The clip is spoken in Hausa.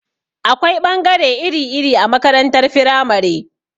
Akwai ɓangare iri-iri a makarantar firamare.